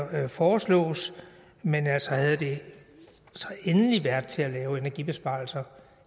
her foreslås men altså havde det været til at lave energibesparelser